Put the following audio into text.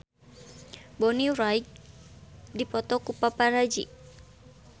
Bonnie Wright dipoto ku paparazi